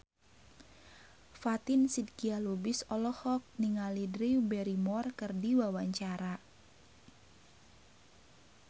Fatin Shidqia Lubis olohok ningali Drew Barrymore keur diwawancara